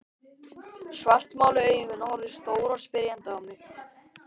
Svartmáluð augun horfðu stór og spyrjandi á mig.